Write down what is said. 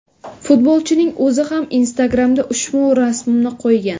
Futbolchining o‘zi ham Instagramda ushbu rasmni qo‘ygan.